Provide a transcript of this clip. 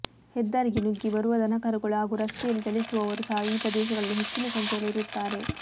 ಹೆದ್ದಾರಿಗೆ ನುಗ್ಗಿ ಬರುವ ದನಕರುಗಳು ಹಾಗೂ ರಸ್ತೆಯಲ್ಲಿ ಚಲಿಸುವವರು ಸಹ ಈ ಪ್ರದೇಶಗಳಲ್ಲಿ ಹೆಚ್ಚಿನ ಸಂಖ್ಯೆಯಲ್ಲಿರುತ್ತಾರೆ